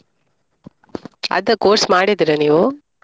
ಅದ್ course ಮಾಡಿದ್ದೀರಾ ನೀವು?